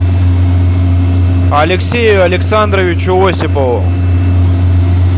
алексею александровичу осипову